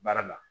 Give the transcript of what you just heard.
Baara la